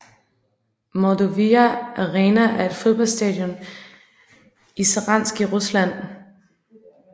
Mordovija Arena er et fodboldstadion i Saransk i Rusland